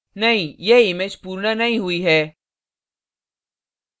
नहीं यह image पूर्ण नहीं हुई है